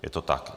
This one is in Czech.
Je to tak.